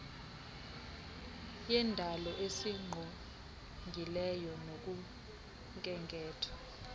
yendalo esingqongileyo nokhenketho